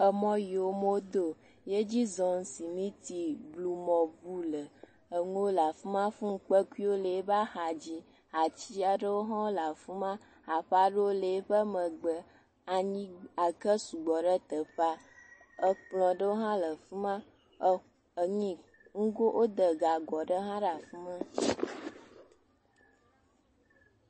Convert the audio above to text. Emɔ yi wome do o yedzi zɔm simiti ʋu le amewo le afima nuwo le afima hafi kpeku aɖewo le eƒe axadzi ati aɖewo ha le afima aƒe aɖewo le eƒe megbe eke sɔgbɔ ɖe tetƒea ekplɔ ɖewo ha le afima woda gago aɖe ɖe afima